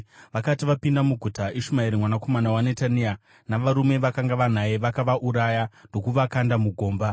Vakati vapinda muguta, Ishumaeri mwanakomana waNetania navarume vakanga vanaye vakavauraya ndokuvakanda mugomba.